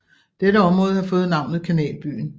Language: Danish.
Dette område har fået navnet Kanalbyen